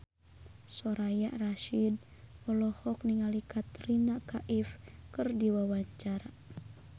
Soraya Rasyid olohok ningali Katrina Kaif keur diwawancara